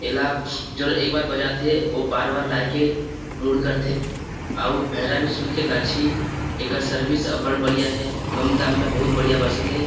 एला जो एक बार बजाथे ओ बार-बार लाये के मुड़ करत है अऊ बेहरा भी सुन के नाचही एकर सर्विस अबड बढ़िया हे कम दाम में बहुत बढ़िया बजथे ।